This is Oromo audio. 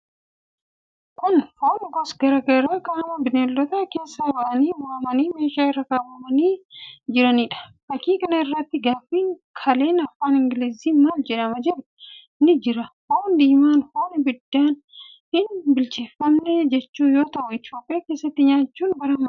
Kun, foon gos garaa garaa qaama bineeldotaa keessaa ba'anii muramanii meeshaa irra kaawwamanii jiranii dha. Fakkii kana irratti, gaafiin kaleen afaan Ingiliiziin maal jedhama jedhu ni jira. Foon diimaan ,foon ibiddaan hin bilcheeffamne jechuu yoo ta'u, Itoophiyaa keessatti nyaachuun baramaa dha.